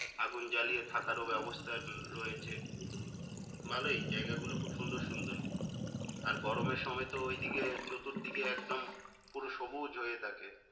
আগুন জ্বালিয়ে থাকারও ব্যাবস্থা রয়েছে ভালোই জায়গাগুল খুব সুন্দর সুন্দর আর গরমের সময় তো ওইদিকে চতুর্দিকে একদম পুরো সবুজ হয়ে থাকে